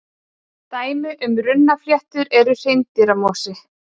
dæmi um runnafléttu er hreindýramosi